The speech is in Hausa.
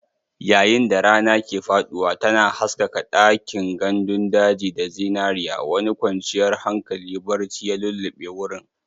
Yayin da rana ke faɗuwa, tana haskaka ɗakin gandun daji da zinariya, wani kwanciyar hankali barci ya lulluɓe wurin.